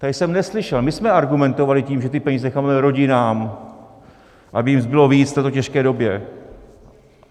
Tady jsem neslyšel - my jsme argumentovali tím, že ty peníze necháme rodinám, aby jim zbylo víc v této těžké době.